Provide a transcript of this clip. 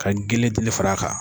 Ka gele dili fara kan.